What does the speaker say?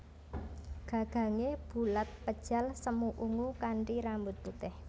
Gagangé bulat pejal semu ungu kanthi rambut putih